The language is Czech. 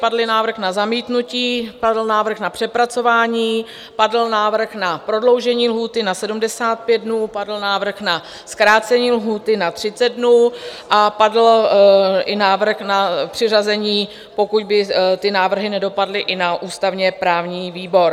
Padl návrh na zamítnutí, padl návrh na přepracování, padl návrh na prodloužení lhůty na 75 dnů, padl návrh na zkrácení lhůty na 30 dnů a padl i návrh na přiřazení, pokud by ty návrhy nedopadly, i na ústavně-právní výbor.